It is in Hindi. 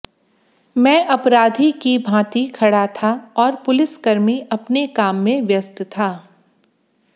मैं अपराधी की भांति खड़ा था और पुलिस कर्मी अपने काम में व्यस्त था